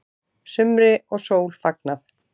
Sumri og sól fagnað